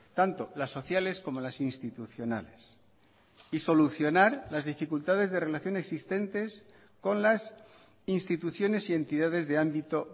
tanto las sociales como las institucionales y solucionar las dificultades de relación existentes con las instituciones y entidades de ámbito